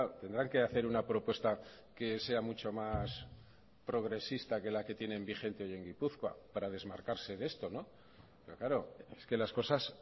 tendrán que hacer una propuesta que sea mucho más progresista que la que tienen vigente hoy en gipuzkoa para desmarcarse de esto pero claro es que las cosas